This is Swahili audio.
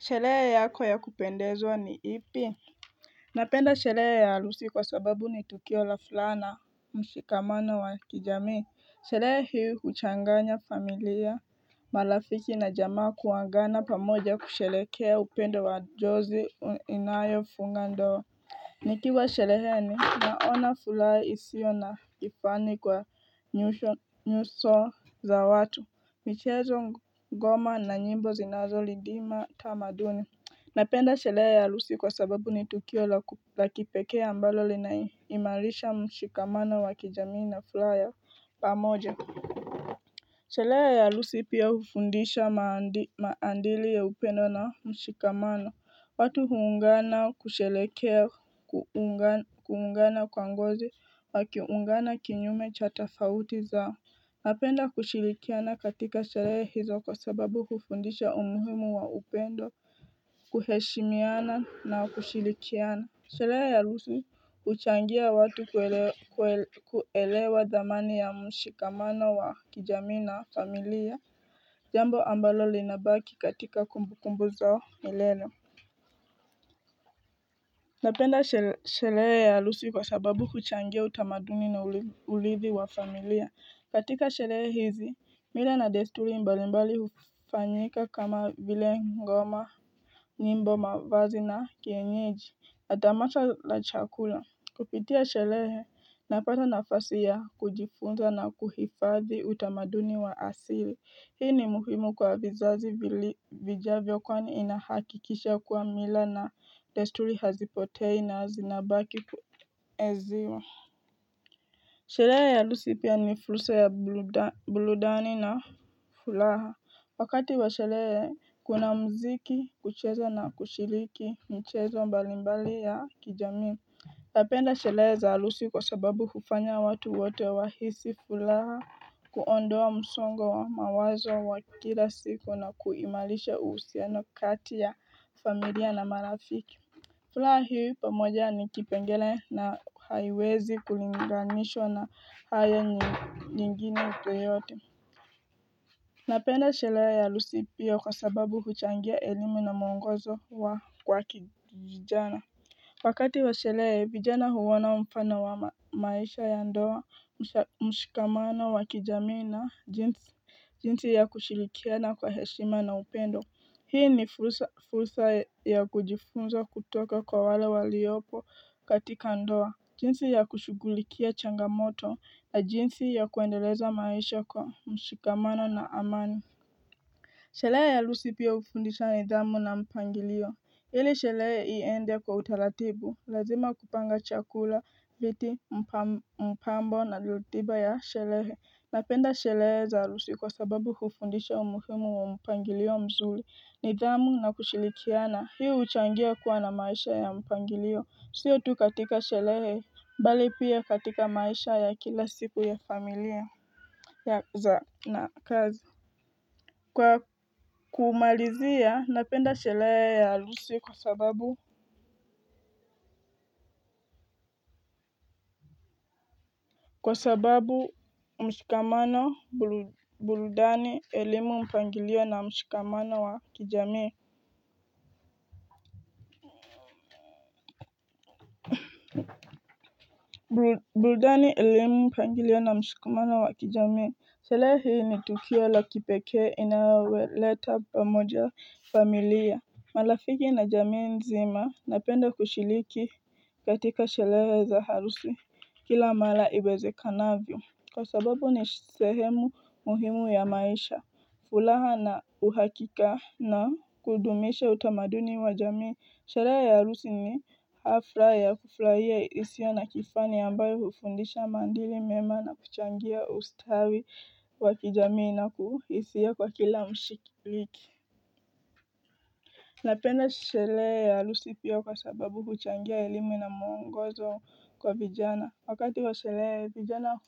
Sherehe yako ya kupendewa ni ipi Napenda shelehe ya halusi kwa sababu ni tukio la fulaha mshikamano wa kijamii Shelehe hii huchanganya familia Malafiki na jamaa kuangana pamoja kushelekea upendo wa jozi inayo funga ndoa Nikiwa shereheni naona fulaha isio na kifani kwa nyuso za watu, michezo ngoma na nyimbo zinazo lidima tamaduni Napenda sherehe ya halusi kwa sababu ni tukio la kipekea ambalo lina imalisha mshikamano wakijamii na fulaha ya pamoja shelehe ya halusi pia hufundisha maandili ya upendo na mshikamano watu huungana kushelekea, kuungana kwa ngozi, wakiungana kinyume cha tafauti zao Napenda kushilikiana katika shelehe hizo kwa sababu hufundisha umuhimu wa upendo, kuheshimiana na kushilikiana Shelehe ya halusi huchangia watu kuelewa dhamani ya mshikamano wa kijamii na familia jambo ambalo linabaki katika kumbu kumbu zao milele Napenda shelehe ya halusi kwa sababu huchangia utamaduni na ulithi wa familia katika shelehe hizi mila na desturi mbali mbali hufanyika kama vile ngoma nyimbo mavazi na kienyeji na tamasha la chakula Kupitia shelehe napata nafasi ya kujifunza na kuhifadhi utamaduni wa asili. Hii ni muhimu kwa vizazi vijavyo kwani inahakikisha kwa mila na desturi hazipotei na zinabaki kuenziwa. Shelehe ya halusi pia ni fulsa ya buludani na fulaha. Wakati wa shelehe kuna mziki, kucheza na kushiliki, mchezo mbalimbali ya kijamii. Napenda shelehe za halusi kwa sababu hufanya watu wote wahisi fulaha kuondoa msongo wa mawazo wa kila siku na kuimalisha uhusiano kati ya familia na marafiki. Fulaha hii pamoja ni kipengele na haiwezi kulinganishwa na haya nyingine yoyote. Napenda shelea ya halusi pia kwa sababu huchangia elimu na mwongozo wa kwa vijijana. Wakati wa shalehe vijana huona mfano wa maisha ya ndoa, mshikamano, wa kijamii na jinsi ya kushilikiana kwa heshima na upendo. Hii ni fursa ya kujifunza kutoka kwa wale waliopo katika ndoa. Jinsi ya kushugulikia changamoto na jinsi ya kuendeleza maisha kwa mshikamano na amani. Shalehe ya halusi pia ufundisa nidhamu na mpangilio. Hili shalehe iende kwa utalatibu. Lazima kupanga chakula, viti, mpambo na lutiba ya shelehe Napenda shelehe za halusi kwa sababu hufundisha umuhimu wa mpangilio mzuli nidhamu na kushilikiana, hii uchangia kuwa na maisha ya mpangilio, siyo tu katika shelehe bali pia katika maisha ya kila siku ya familia ya za na kazi Kwa kumalizia, napenda shelehe ya halusi kwa sababu Kwa sababu mshikamano burudani elimu mpangilio na mshikamana wa kijamii Buludani elimu mpangilio na mshikamano wa kijamii Shelehe ni tukio la kipeke inawaleto pamoja familia Malafiki na jamii nzima napenda kushiliki katika shelehe za harusi kila mala iweze kanavyo Kwa sababu ni sehemu muhimu ya maisha, fulaha na uhakika na kudumisha utamaduni wa jamii, sherehe ya halusi ni hafla ya kufuraia isio na kifani ambayo hufundisha maadili mema na kuchangia ustawi wa kijamii na kuhisia kwa kila mshiliki napenda shelehe ya alusi pia kwa sababu huchangia elimu na muongozo kwa vijana wakati wa shelehe vijana